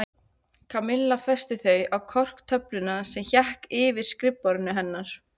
Kamilla festi þau á korktöfluna sem hékk yfir skrifborðinu hennar.